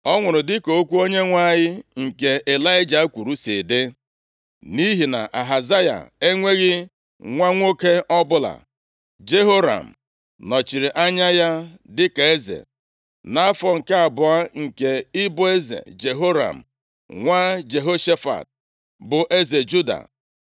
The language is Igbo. Ọ nwụrụ dịka okwu Onyenwe anyị nke Ịlaịja kwuru si dị. Nʼihi na Ahazaya enweghị nwa nwoke ọbụla, Jehoram + 1:17 Maọbụ, Joram dịka a na-akpọ ya mgbe ụfọdụ nọchiri anya ya dịka eze, nʼafọ nke abụọ nke ịbụ eze Jehoram nwa Jehoshafat, bụ eze Juda.